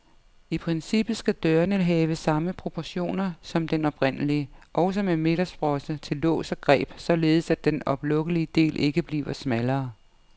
I princippet skal dørene have samme proportioner som den oprindelige, også med midtersprosse til lås og greb, således at den oplukkelige del ikke bliver smallere.